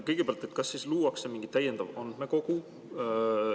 Kõigepealt, kas siis luuakse mingi täiendav andmekogu?